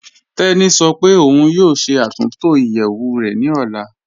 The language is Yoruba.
Tẹni sọ́ pé ọun yóò ṣẹ́ àtúntọ iyeẹwù rẹ ni ọlá.